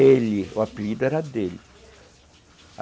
Ele, o apelido era dele.